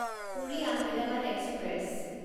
Puri Ahmedabad express